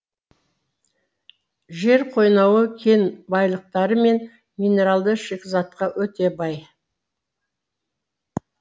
жер қойнауы кен байлықтары мен минералды шикізатқа өте бай